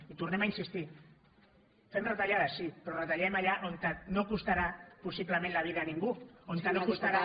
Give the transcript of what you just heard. i hi tornem a insistir fem retallades sí però retallem allà on no costarà possiblement la vida a ningú on no costarà